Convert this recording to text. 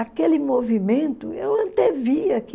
Aquele movimento, eu antevia que